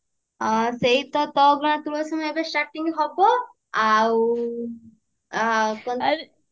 ହଁ ସେଇ ତ ତୋ ଅଗଣା ତୁଳସୀ ମୁଁ ଏବେ starting ହବ ଆଉ ଆଉ କଣ ତ